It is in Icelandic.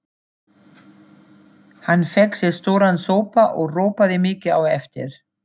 Hann fékk sér stóran sopa og ropaði mikið á eftir.